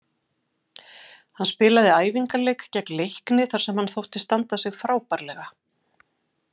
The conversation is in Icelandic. Hann spilaði æfingaleik gegn Leikni þar sem hann þótti standa sig frábærlega.